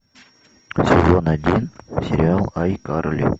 сезон один сериал айкарли